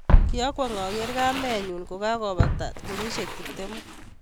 Ki akwong' ager kamenyu kokakobata kenyisiek tiptemu.